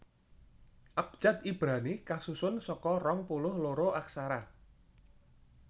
Abjad Ibrani kasusun saka rong puluh loro aksara